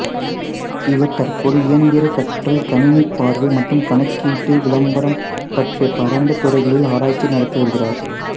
இவர் தற்போது இயந்திர கற்றல் கணினி பார்வை மற்றும் கணக்கீட்டு விளம்பரம் பற்றிய பரந்த துறைகளில் ஆராய்ச்சி நடத்தி வருகிறார்